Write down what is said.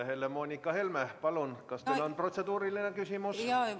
Helle-Moonika Helme, palun, kas teil on protseduuriline küsimus?